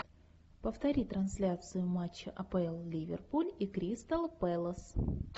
повтори трансляцию матча апл ливерпуль и кристал пэлас